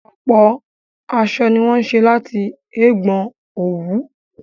Ọ̀pọ̀ aṣọ ni wọ́n ṣé láti ẹ̀gbọn òwú